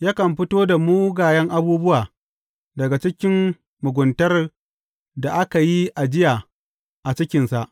yakan fito da mugayen abubuwa daga cikin muguntar da aka yi ajiya a cikinsa.